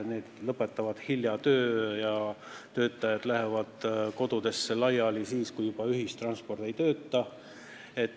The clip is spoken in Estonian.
Need lõpetavad töö hilja ja töötajad lähevad kodudesse laiali siis, kui ühistransport enam ei tööta.